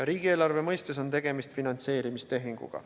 Riigieelarve mõistes on tegemist finantseerimistehinguga.